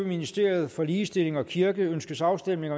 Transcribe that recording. ministeriet for ligestilling og kirke ønskes afstemning